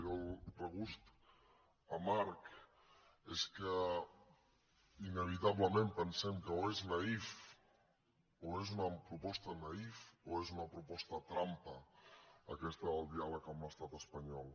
i el regust amarg és que inevitablement pensem que o és naïf o és una proposta naïf o és una proposta trampa aquesta del diàleg amb l’estat espanyol